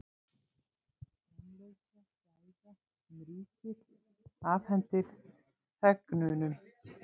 Framleiðsla gæða sem ríkið afhendir þegnunum